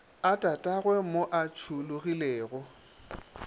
a tatagwe mo a tšhologilego